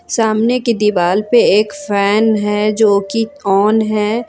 सामने की दीवार पे एक फैन है जो कि ऑन है।